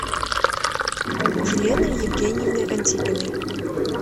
елены евгеньевны антипиной